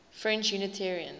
french unitarians